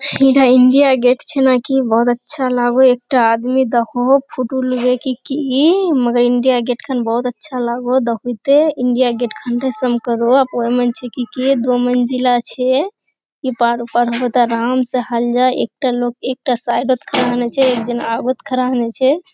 एटा India Gate छे नाकी बहुत अच्छा लागो एकटा आदमी देखो फोटो लेवे की की मगर इंडिया गेट खन बहुत अच्छा लागो बहुते इंडिया गेट दो मंजिला छे। ई पार उ पार होबो त आराम से एक जन आवत खड़ा होन छे।